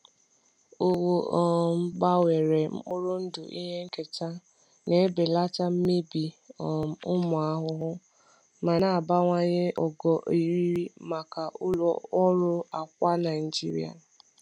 Owu um gbanwere mkpụrụ ndụ ihe nketa na-ebelata mmebi um ụmụ ahụhụ, ma na-abawanye ogo eriri maka ụlọ ọrụ akwa Naijiria.